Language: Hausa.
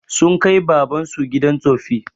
Sun kai baban su gidan tsoffi